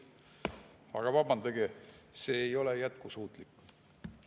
Aga vabandage, see ei ole jätkusuutlik.